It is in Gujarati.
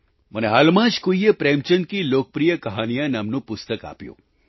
મને હાલમાં જ કોઈએ પ્રેમચંદ કી લોકપ્રિય કહાનીયાં નામનું પુસ્તક આપ્યું